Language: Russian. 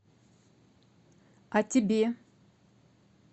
а тебе